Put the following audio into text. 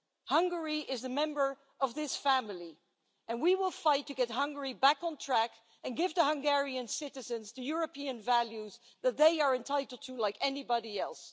Hungary is a member of this family, and we will fight to get Hungary back on track and give Hungarian citizens the European values that they are entitled to, like anybody else.